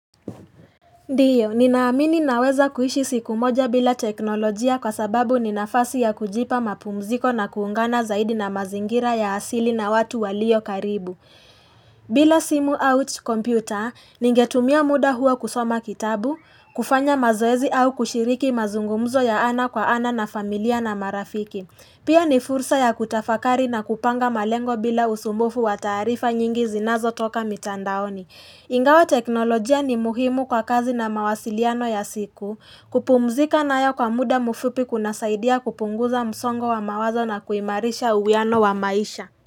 Ndiyo, ninaamini naweza kuishi siku moja bila teknolojia kwa sababu ni nafasi ya kujipa mapumziko na kuungana zaidi na mazingira ya asili na watu waliokaribu. Bila simu out computer, ningetumia muda huo kusoma kitabu, kufanya mazoezi au kushiriki mazungumzo ya ana kwa ana na familia na marafiki. Pia ni fursa ya kutafakari na kupanga malengo bila usumbufu wa taarifa nyingi zinazotoka mitandaoni. Ingawa teknolojia ni muhimu kwa kazi na mawasiliano ya siku kupumzika nayo kwa muda mfupi kunasaidia kupunguza msongo wa mawazo na kuimarisha uwiano wa maisha.